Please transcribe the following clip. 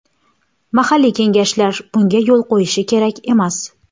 Mahalliy kengashlar bunga yo‘l qo‘yishi kerak emas.